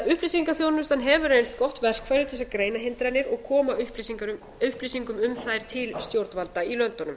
að upplýsingaþjónustan hefur reynst gott verkfæri til að greina hindranir og koma upplýsingum um þær til stjórnvalda í löndunum